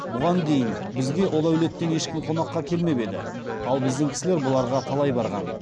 бұған дейін бізге ол әулеттен ешкім қонаққа қелмеп еді ал біздің кісілер бұларға талай барған